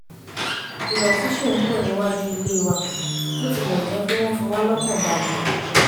idọ̀tí ṣì ń pọ̀ níwájú ilé wa bó tilẹ̀ jẹ́ pé wọ́n fiwá lọ́kan balẹ̀